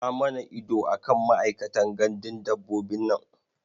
Sa mana ido a kan ma'aikatan gandun dabbobin nan.